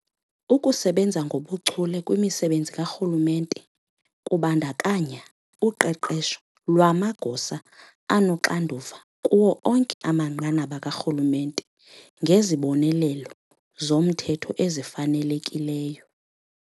Ukusebenza ngobuchule kwimisebenzi karhulumente kubandakanya uqeqesho lwamagosa anoxanduva kuwo onke amanqanaba karhulumente ngezibonelelo zomthetho ezifanelekileyo.